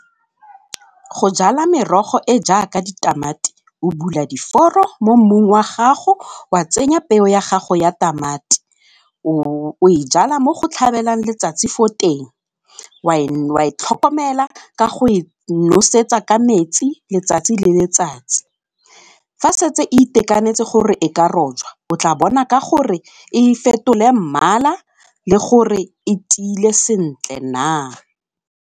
Go jala merogo e jaaka ditamati, o bula diforo mo mmung wa gago wa tsenya peo ya gago ya tamati, o e jala mo go tlhabelang letsatsi fo teng, wa e tlhokomela ka go e nosetsa ka metsi letsatsi le letsatsi, fa setse e itekanetse gore e ka rojwa o tla bona ka gore e fetole mmala le gore e tiile sentle na.